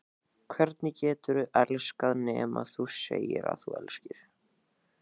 Hvernig geturðu elskað nema segja að þú elskir?